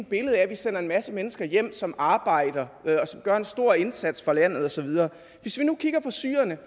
billede af at vi sender en masse mennesker hjem som arbejder og som gør en stor indsats for landet og så videre hvis vi nu kigger på syrerne